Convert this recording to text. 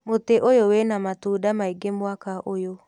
Mũtĩ ũyũ wĩna matunda maingĩ mwaka ũyũ.